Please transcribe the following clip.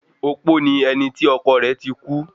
Opó ni ẹni tí ọkọ rẹ̀ ti kú